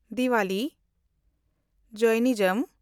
Diwali (ᱡᱮᱭᱱᱤᱡᱚᱢ)